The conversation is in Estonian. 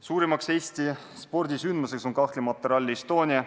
Suurim Eesti spordisündmus on kahtlemata Rally Estonia.